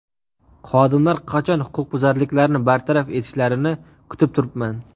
Xodimlar qachon huquqbuzarlikni bartaraf etishlarini kutib turibman.